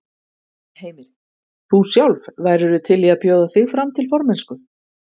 Heimir: Þú sjálf, værirðu til í að bjóða þig fram til formennsku?